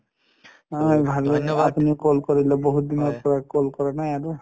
ভাল আপুনি call কৰিলে বহুত দিনৰ পৰ call কৰা নাই আৰু